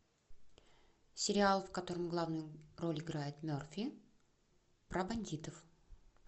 сериал в котором главную роль играет мерфи про бандитов